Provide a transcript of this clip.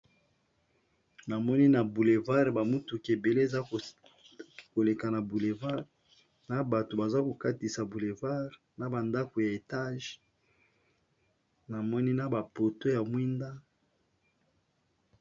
Na moni na boulevard ba mutuka ebele eza koleka na boulevard, na bato baza ko katisa na boulevard na ba ndako ya etage namoni na ba poto ya mwinda.